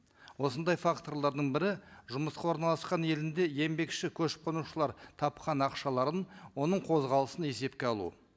осындай факторлардың бірі жұмысқа орналасқан елінде еңбекші көшіп қонушылар тапқан ақшаларын оның қозғалысын есепке алу